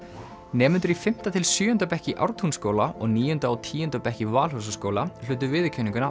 nemendur í fimmta til sjöunda bekk í Ártúnsskóla og níunda og tíunda bekk í Valhúsaskóla hlutu viðurkenninguna